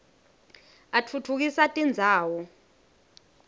atfutfukisa tindzawo